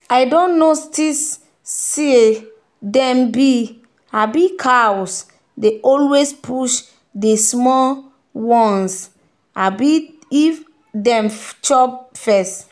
i don notice say dem big um cows dey always push de small ones um them if food just come.